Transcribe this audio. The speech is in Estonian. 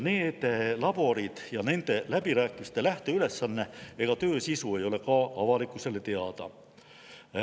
Need laborid, läbirääkimiste lähteülesanne ega töö sisu ei ole avalikkusele teada.